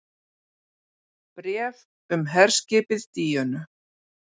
BRÉF UM HERSKIPIÐ DÍÖNU